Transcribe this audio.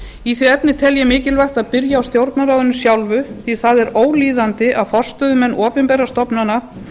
í því efni tel ég mikilvægt að byrja á stjórnarráðinu sjálfu því það er ólíðandi að forstöðumenn opinberra stofnana